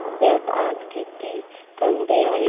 पुण्यात आज किती थंडी आहे